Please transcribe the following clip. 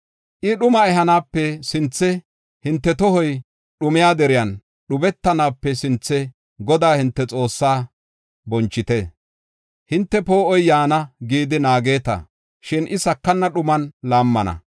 I dhuma ehanaape sinthe, hinte tohoy dhumiya deriyan dhubetanaape sinthe, Godaa hinte Xoossaa bonchite. Hinte, “Poo7oy yaana” gidi naageta; shin I sakana dhuman laammana.